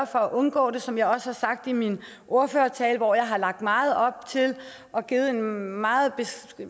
for at undgå det som jeg også har sagt i min ordførertale hvor jeg har lagt meget op til og givet en meget